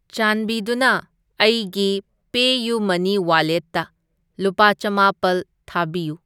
ꯆꯥꯟꯕꯤꯗꯨꯅ ꯑꯩꯒꯤ ꯄꯦꯌꯨꯃꯅꯤ ꯋꯥꯂꯦꯠꯇ ꯂꯨꯄꯥ ꯆꯥꯝꯃꯥꯄꯜ ꯊꯥꯕꯤꯌꯨ꯫